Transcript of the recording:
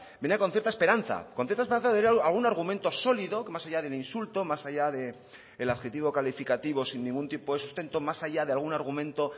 venía con cierta esperanza con cierta esperanza de ver algún argumento sólido que más allá del insulto más allá del adjetivo calificativo sin ningún tipo de sustento más allá de algún argumento